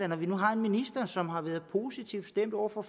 nu har en minister som har været positivt stemt over for